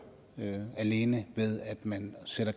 alene ved at man sætter